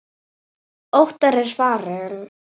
Óttar er farinn.